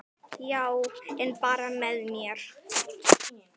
Já, en bara með mér.